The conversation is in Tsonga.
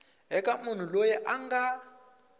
eka munhu loyi a nga